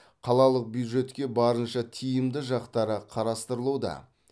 қалалық бюджетке барынша тиімді жақтары қарастырылуда